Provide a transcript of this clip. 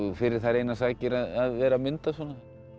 fyrir þær einar sakir að vera að mynda svona